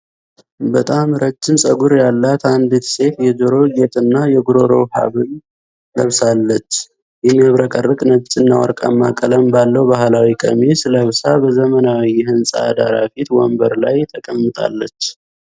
በጣም ረጅም ፀጉር ያላት አንዲት ሴት የጆሮ ጌጥና የጉሮሮ ሐብል ለብሳለች። የሚያብረቀርቅ ነጭና ወርቃማ ቀለም ባለው ባህላዊ ቀሚስ ለብሳ በዘመናዊ የሕንፃ ዳራ ፊት ወንበር ላይ ተቀምጣለች።